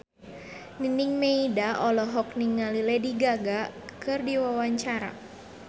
Nining Meida olohok ningali Lady Gaga keur diwawancara